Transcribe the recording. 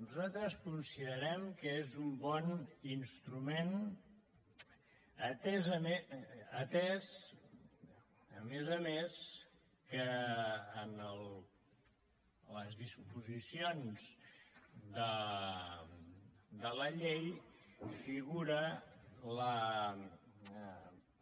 nosaltres considerem que és un bon instrument atès a més a més que en les disposicions de la llei figura la